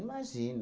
Imagina!